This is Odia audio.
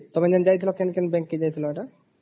ତମେ ଯେନ୍ତା ଯାଇଥିଲା କେନ କେନ bank କେ ଯାଇଥିଲା ଏଟା ?